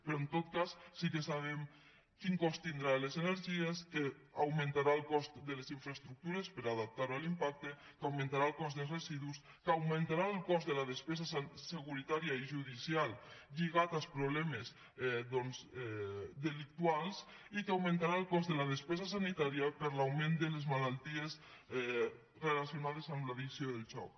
però en tot cas sí que sabem quin cost tindrà en les energies que augmentarà el cost de les infraestructures per a adaptar ho a l’impacte que augmentarà el cost dels residus que augmentarà el cost de la despesa securitària i judicial lligat als problemes delictius i que augmentarà el cost de la despesa sanitària per l’augment de les malalties relacionades amb l’addicció del joc